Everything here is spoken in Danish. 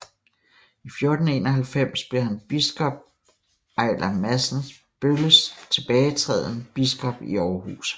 I 1491 blev han ved biskop Ejler Madsen Bølles tilbagetræden biskop i Aarhus